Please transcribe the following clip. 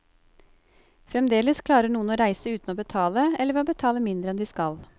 Fremdeles klarer noen å reise uten å betale, eller ved å betale mindre enn de skal.